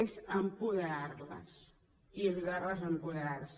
és apoderar les i ajudar les a apoderar se